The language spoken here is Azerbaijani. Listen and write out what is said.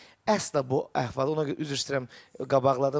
Əsla bu əhvalı, ona görə üzr istəyirəm, qabaqladım.